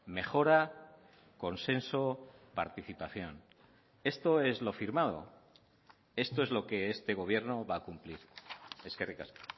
mejora consenso participación esto es lo firmado esto es lo que este gobierno va a cumplir eskerrik asko